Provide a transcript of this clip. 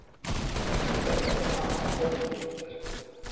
Þetta var afar ódýr vítaspyrna